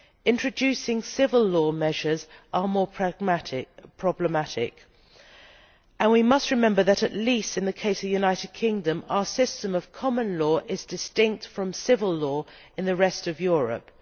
Introducing civil law measures is more problematic, and we must remember that, at least in the case of the United Kingdom, our system of common law is distinct from civil law in the rest of Europe.